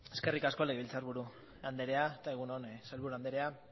eskerrik asko legebiltzarburu anderea eta egun on sailburu anderea